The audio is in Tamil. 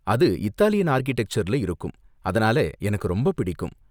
அது இத்தாலியன் ஆர்க்கிடெக்சர்ல இருக்கும், அதனால எனக்கு ரொம்ப பிடிக்கும்.